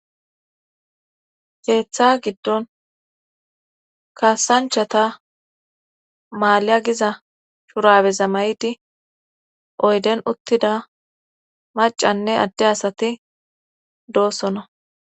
Geeththa giddon kasanchata maaliy7a giza shurabeza may7di oyden uttida macanne adde asati doosona.